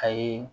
Ayi